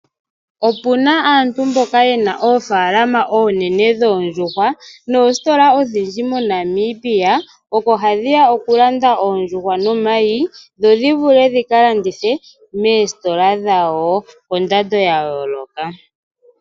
Opena aantu mboka yena oofalama oonene dhoondjuhwa noositola odhindji moNamibia oko hadhi ya okulanda oondjuhwa nomayi. Dho dhi vule dhika landithe moositola dhawo kondando ya yooloka.